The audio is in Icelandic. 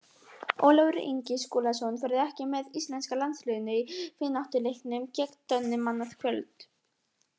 Ólafur Ingi Skúlason verður ekki með íslenska landsliðinu í vináttuleiknum gegn Dönum annað kvöld.